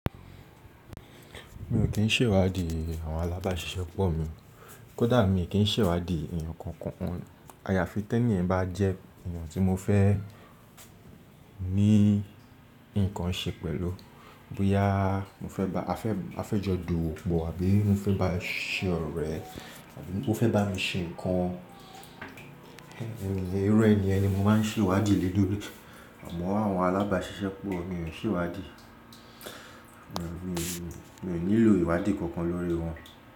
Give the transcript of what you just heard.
Mi ò kín ṣèwádìí àwọn alábáṣiṣẹ́ pọ̀ mi, kódà mi kín ṣèwádìí èèyàn kankan. Ayàfi tẹ́níyẹn bá jẹ́ èèyàn tí mo fẹ́ ní nǹkan ṣe pẹ̀lú, bóyá a fẹ́ jọ dù ipó àbí mó fẹ́ bá ṣe ọ̀rẹ́ àbí ó fẹ́ bá mi ṣe nǹkan. Iru ẹni ni mo máa ń ṣèwádìí lé lórí, àmọ́ àwọn alábáṣiṣẹ́ pọ̀ mi ò ń ṣèwádìí. Mi ò nílò ìwádìí kankan lórí wọn.